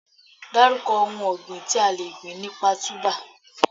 Dárúkọ ohun ọ̀gbìn tí a le gbìn nípa Túbà?